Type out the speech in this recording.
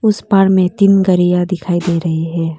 उस पार में तीन घड़ियां दिखाई दे रही है।